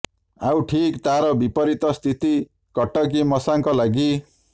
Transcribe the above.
ଆଉ ଠିକ୍ ତାର ବିପରୀତ ସ୍ଥିତି କଟକି ମଶାଙ୍କ ଲାଗି